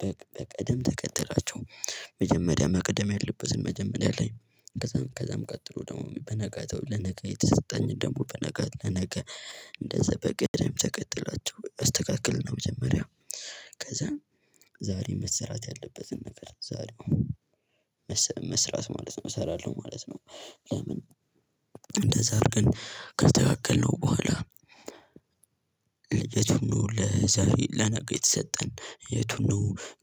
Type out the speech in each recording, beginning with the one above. በቅደም ተከተላቸው መጀመሪያ መቀደም ያለበትን መጀመሪያ ለይ ከዛም ከዛም ቀጥሎ ደግሞ በነጋታው ለነገ የተሰጠኝን ደግሞ በንጋት ለነገ እንደዛ በቅድም ተከተላቸው አስተካክለነው መጀመሪያ ከዛ ዛሬ መሰራት ያለበትን ነገር ዛሬው መስራት ማለት ነው፣ እሰራለሁ ማለት ነው። ለምን እንደዛ አድርገን ከተከከልነው በኋላ የቱ ነው ለዛሬ ለናጋ የተሰጠን የቱ ነው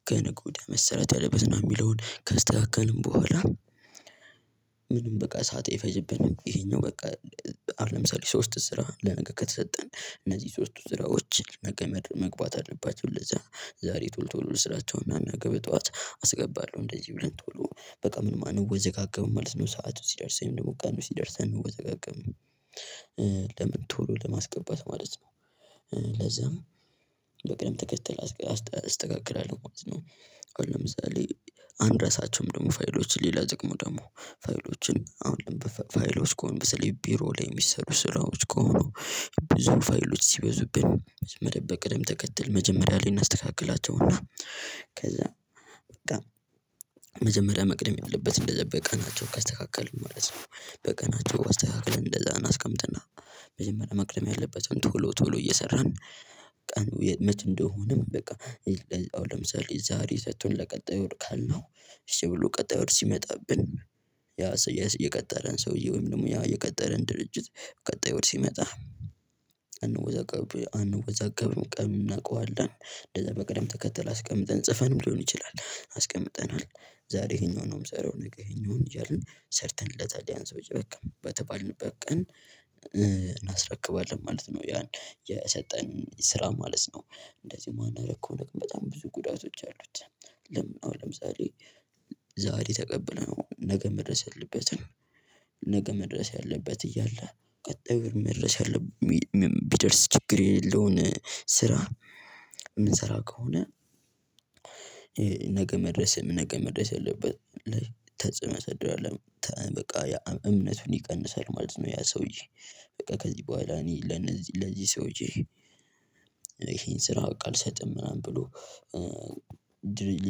ከናጋ ወድያ መሰረት ያለበት የምለውን ከስተከከለነወ በኋለ ምንም በቃ ሳዓት አይፈጀብንም። ይሄኛው በቃ ለምሳሌ ሶስት ስራ ለነገ ከተሰጠን እነዚህ ሶስቱ ስራዎችን ነጋ መግባት አለባቸው ለዛ ዛሬ ቶሎ ቶሎ እስራቸውን ነጋ በጠዋት አስገባለሁ። እንደዚህ ብለን ቶሎ በቃ ምን አንወዘጋገብም ማለት ነው። ሰዓቱ ሲደርሰኝ ደግሞ ቃኑ ሲደርሰን አንወዘጋገብም። ለምን ቶሎ ለማስገባት ማለት ነ። ለዛም በቅደም ተከተል አስተካክላለሁ ማለት ነው። አሁን ለምሳሌ አንድ ራሳቸውም ደግሞ ፋይሎች ሌላ ጥቅም ደግሞ ፋይሎችን አሁን በፋይሎች ከሆነ ለምሰሌ ቢሮ ላይ የሚሰሩ ስራዎች ከሆኑ ብዙ ፋይሎች ሲበዙብን መደበቅ በቅደም ተከትል መጀመሪያ ላይ እናስተካክላቸው እና ከዛ በቃ መጀመሪያ መቅደም ያለበትን እንደጠበቀነቸው ከሶተከከለን ማለት በቀነቸው ከስተከከልን እነስቀምጥና መጀመሪያ መቅደም ያለበትን ቶሎ ቶሎ እየሠረን ቀኑ መች እንደሆነ አሁን ለምሳሌ ዛሬ ሰጥቶን ለቀጣዩ ወር ካልነው እሺ ብሎ ቀጣዩ ወር ሲመጣብን ያ የቀጠረን ሰውዬ ወይም ደግሞ ያ የቀጠረን ድርጅት ቀጣይ ወር ሲመጣ አንወዛገብም። ቀኑን እናውቀዋለን እንደዛ በቅደም ተከተል አስቀምጠን ጽፈንም ሊሆን ይችላል። አስቀምጠናል። ዛሬ ይሄኛውን ነው የምሰራው ነገር ይሄኛውን እያለን ሰርተን ያ ሰዎች በተባልንበት ቀን እናስረክባለን ማለት ነው። ያን የሰጠን ስራ ማለት ነው። እንደዚህ የመነደርግ ከሆነ በጣም ብዙ ጉዳቶች አሉት ለምን አለም ለምሳሌ ዛሬ ተቀብለው ነገ መድረስ ያለበትን ነገ መድረስ ያለበት እያለ ቀጣዩን መድረስ ያለበት ቢደርስ ችግር የሌለውን ስራ የምንሰራ ከሆነ ነገ መድረስም ነገ መድረስ ያለበት ተጽዕኖ ያሳድራል። በቃ እምነቱን ይቀንሳል ማለት ነ፣ ያ ሰውዬ። በቃ ከዚህ በኋላ እኔ ለነዚህ ለዚህ ሰውዬ ይሄን ስራ በቃ አልሰጥም ምናምን ብሎ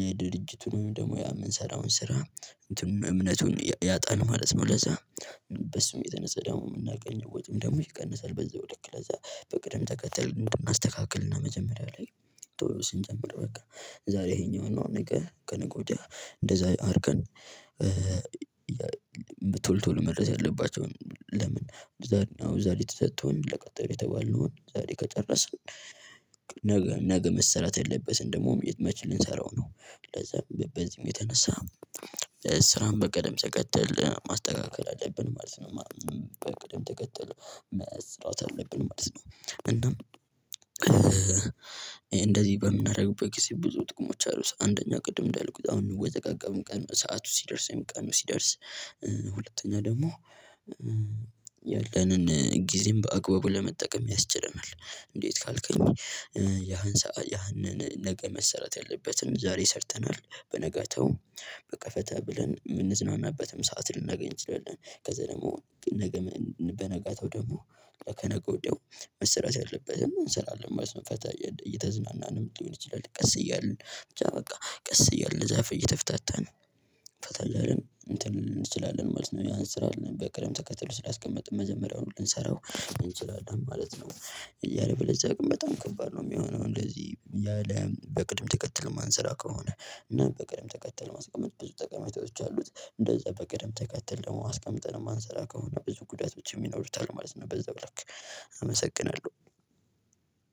የድርጅቱንም ደግሞ ያ የምንሰራውን ስራ እምነቱን ያጣል ማለት ነው። ለዛ በሱም የተነሳ ደግሞ የምናገኘው ወጪም ደግሞ ይቀንሳል። በዛ ወደ ከለዛ በቅደም ተከተል እንድናስተካክልና መጀመሪያ ላይ ተው ስንጀምር በቃ ዛሬ ይሄኛውን ነገ ከነገ ወዲያ እንደዛ አድርገን ቶል ቶሎ መድረስ ያለባቸውን ለምን አሁን ዛሬ ተሠጥቶን ለቀጠይ ወር የተባለውን ዛሬ ከጨረሰን ነገ መሰራት የለበትን ደግሞ የት መቼ ልንሰራው ነው? ለዛም በዚህም የተነሳ ስራን በቀደም ተከተል ማስተካከል አለብን ማለት ነው። በቅድም ተከተል መስራት አለብን ማለት ነው። እና እንደዚህ በምናደርግበት ብዙ ጥቅሞች አሉ አንደኛ ቅድም እንዳልኩት አሁን ወይ የተዘጋጋብን ሳዓቱ ሲደርስ ወይም ቀኑ ሲደርስ ሁለተኛ ደግሞ ያለንን ጊዜም በአግባቡ ለመጠቀም ያስችለናል። እንዴት ካልከኝ ያን ሳዓት ያንን ነገ መሰራት ያለበትን ዛሬ ሰርተናል። በነገታው በቃ ፈተ ብለን የምንዝናናበትም ሰዓትን ልናገኝ እንችላለን። ከዛ ደግሞ ነገ በነጋታው ደግሞ ከነገ ወዲያው መሰራት ያለበትን እንሰራለን። ፈታ እያለን እየተዝናንም ልሆን ይችላል ቀስ እያልን በቃ ቀስ እያልን ዛፍ እየተፈታተን ፈታ እያለን እንትን እንችላለን ማለት ነው። ያን ስራ በቅደም ተከተል ስላስቀመጥን መጀመሪያውን ልንሰራው እንችላለን ማለት ነው። እያለ ወደዛ ግን በጣም ከባድ ነው የሚሆነው። እንደዚህ ያለም በቅደም ተከተል የማንሰራ ከሆነ እና በቅድም ተከተል ማስቀመጥ ብዙ ተቀምጦች አሉት እንደዛ በቅድም ተከተሎ ደግሞ አስቀመጥን ማንሰራ ከሆነ ብዙ ጉዳቶች ይኖሩት ማለት ነው፣ በዛው ልክ። አመሰግናለሁ።